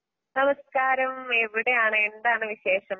നമസ്കാരം. എവിടെയാണ്എന്താണ് വിശേഷം?